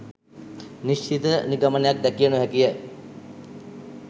නිශ්චිත නිගමනයක් දැකිය නොහැකිය.